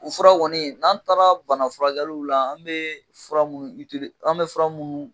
U furaw wɔni n'an taara bana furakɛɛliw la , an bɛ fura minnu an bɛ fura minnu